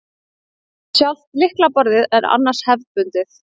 Sjálft lyklaborðið er annars hefðbundið